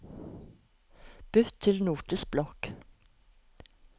Bytt til Notisblokk